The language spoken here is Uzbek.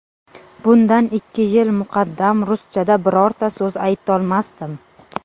Bundan ikki yil muqaddam ruschada birorta so‘z aytolmasdim.